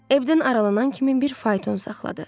Evdən aralanan kimi bir fayton saxladı.